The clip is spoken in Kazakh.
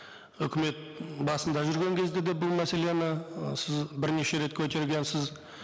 үкімет басында жүрген кезде де бұл мәселені ы сіз бірнеше рет көтергенсіз